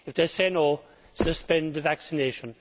If they say no', suspend the vaccination.